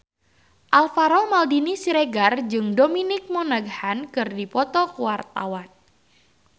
Alvaro Maldini Siregar jeung Dominic Monaghan keur dipoto ku wartawan